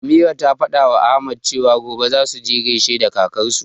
Ameera ta fadawa Ahmad cewa, gobe zasu je gaishe da kakarsu.